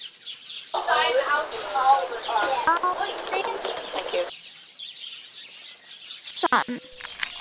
Á minn sann.!